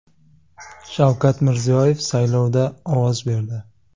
Shavkat Mirziyoyev saylovda ovoz berdi.